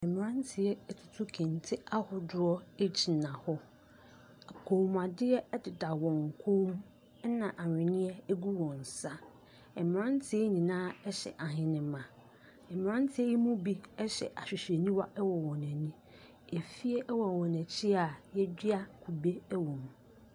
Mmeranteɛ atutu kente ahodoɔ gyina hɔ. Kɔmmuadeɛ deda wɔn kɔ mu, ɛnna ahwenneɛ gu wɔn nsa. Mmeranteɛ yi nyinaa hyɛ ahenemma. Mmeranteɛ yi mu bi hyɛ ahwehwɛniwa wɔ wɔn ani. Fie wɔ wɔn akyi a wɔadua kube wom.